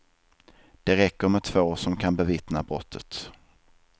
Det räcker med två som kan bevittna brottet.